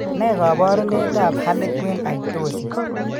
Ne kaabarunetap harlequin ichthyosis?